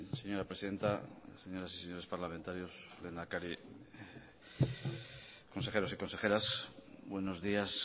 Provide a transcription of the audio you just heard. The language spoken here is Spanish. señora presidenta señoras y señores parlamentarios lehendakari consejeros y consejeras buenos días